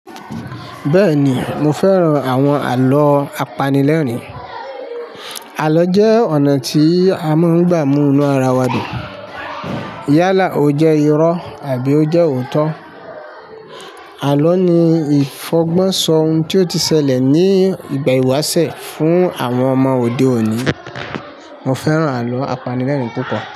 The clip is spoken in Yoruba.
Bẹ́ẹ̀ni, mo fẹ́ran àwọn àlọ́ apanilẹ́rìn-ín. Àlọ jẹ́ ọ̀nà tí a máa ń gbà mú inú ara wa dùn. Yálà ó jẹ́ irọ́ àbí ó jẹ́ òótọ́, àlọ́ ni ìfọ̀gbọ́n sọ ohun tí ó ti ṣẹlẹ̀ ní ìgbà ìwáṣẹ̀ fún àwọn ọmọ òde òní. Mo fẹ́ràn àlọ́ apanilẹ́rìn-ín púpọ̀